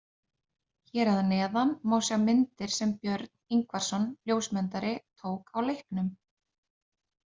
Hér að neðan má sjá myndir sem Björn Ingvarsson ljósmyndari tók á leiknum.